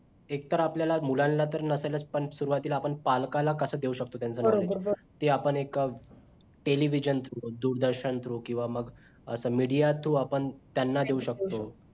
एक तर आपल्याला मुलांना तर नसेलच पण सुरवातीला आपण पालकाला कशा देऊ शकतो त्यांचा knowledge ते आपण एक television through दूरदर्शन through किंवा मग असं media through आपण त्यांना देऊ शकतो